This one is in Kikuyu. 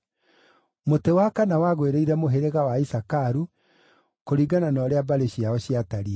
Mũtĩ wa kana wagwĩrĩire mũhĩrĩga wa Isakaru kũringana na ũrĩa mbarĩ ciao ciatariĩ.